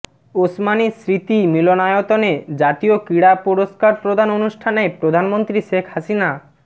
ওসমানী স্মৃতি মিলনায়তনে জাতীয় ক্রীড়া পুরস্কার প্রদান অনুষ্ঠানে প্রধানমন্ত্রী শেখ হাসিনা